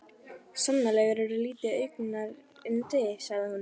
Sannarlega ertu lítið augnayndi sagði hún.